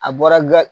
A bɔra ga